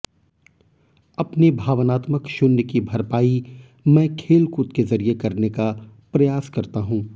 अपने भावनात्मक शून्य की भरपाई मैं खेलकूद के जरिए करने का प्रयास करता हूं